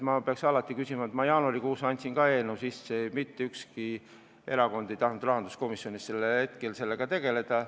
Ma andsin jaanuarikuus ka selleteemalise eelnõu käiku, aga rahanduskomisjonis ei tahtnud mitte ükski fraktsioon sellega sel hetkel tegeleda.